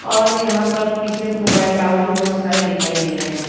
और यहाँ पर पीछे मोबाइल टावर भी बहोत सारे दिखाई दे रहे हैं।